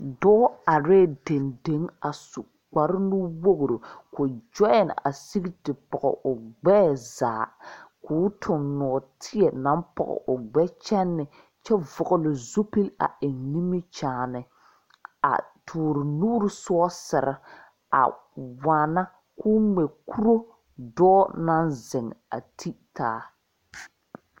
Dɔɔ are dɛndeŋ a su kpare nuwogri ka o gyoi a zeŋ te pɔge o gbɛɛ zaa k'o toŋ nɔɔteɛ naŋ pɔge o gbɛkyɛne kyɛ vɔgle zupili a eŋ nimikyaani a toɔre nuuri sogesere a waana k'o ŋmɛ kuro dɔɔ naŋ zeŋ a te taa.